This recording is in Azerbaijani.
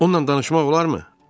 Onunla danışmaq olarmı?